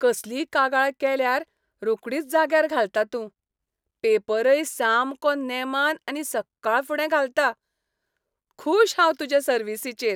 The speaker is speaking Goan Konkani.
कसलीय कागाळ केल्यार रोकडीच जाग्यार घालता तूं. पेपरय सामको नेमान आनी सक्काळफुडें घालता. खूश हांव तुजे सर्विसीचेर!